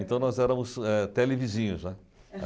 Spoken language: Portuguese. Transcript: Então nós éramos eh televizinhos, né.